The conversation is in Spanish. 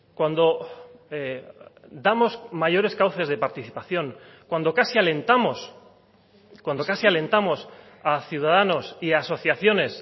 cuando damos mayores cauces de participación cuando casi alentamos cuando casi alentamos a ciudadanos y a asociaciones